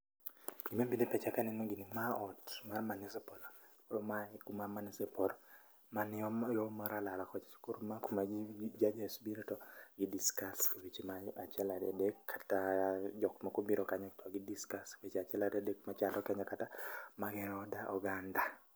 Gima bire pacha kaneno gini ma ot mar manisipul. Koro mae e kuma manisipul mani yo Maralal kocha. E sikol mar kuma judges bire to gi discuss weche mag achiel ariya dek kata jok moko biro kanyo to gi discuss weche achiel ariya dek machando Kenya kata mageng'o oganda.